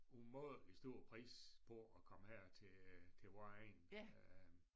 Umådelig stor pris på at komme her til til vor egn øh